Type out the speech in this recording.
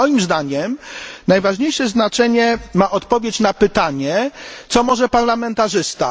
Moim zdaniem największe znaczenie ma odpowiedź na pytanie, co może parlamentarzysta.